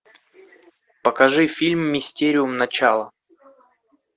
покажи фильм мистериум начало